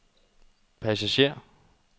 passager